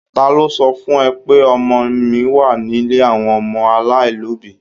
Ta ló sọ fún ẹ pé ọmọ mi wà nílé àwọn ọmọ aláìlóbìí?